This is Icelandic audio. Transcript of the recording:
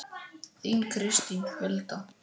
Þín Kristín Hulda.